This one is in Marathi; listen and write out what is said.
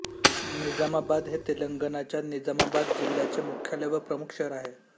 निजामाबाद हे तेलंगणाच्या निजामाबाद जिल्ह्याचे मुख्यालय व प्रमुख शहर आहे